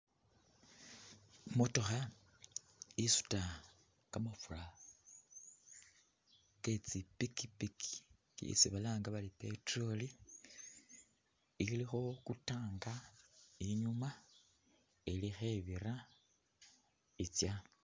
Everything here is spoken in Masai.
Imotookha isuta kamafura ke tsipikipiki isi balanga bari petrol ,ilikho ku tank inyuma ili khebira itsya